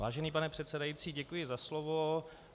Vážený pane předsedající, děkuji za slovo.